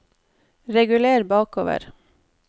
reguler bakover